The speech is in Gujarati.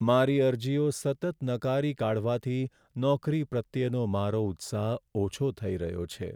મારી અરજીઓ સતત નકારી કાઢવાથી નોકરી પ્રત્યેનો મારો ઉત્સાહ ઓછો થઈ રહ્યો છે.